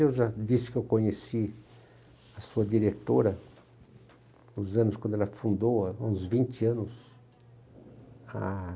Eu já disse que eu conheci a sua diretora, nos anos quando ela fundou, há uns vinte anos. Ah...